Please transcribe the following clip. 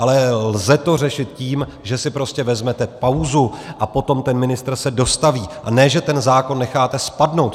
Ale lze to řešit tím, že si prostě vezmete pauzu a potom ten ministr se dostaví, a ne že ten zákon necháte spadnout.